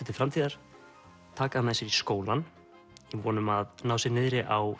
til framtíðar taka það með sér í skólann í von um að ná sér niðri á